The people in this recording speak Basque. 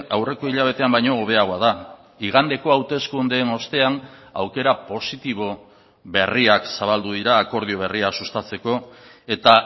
aurreko hilabetean baino hobeagoa da igandeko hauteskundeen ostean aukera positibo berriak zabaldu dira akordio berria sustatzeko eta